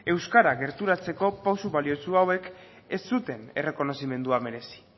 euskara gerturatzeko pausu baliotsu hauek ez zuten errekonozimendua merezi